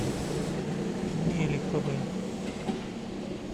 мелиховой